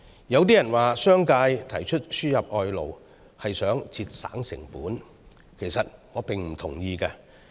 有人指商界提出輸入外勞，是想節省成本，我其實並不同意。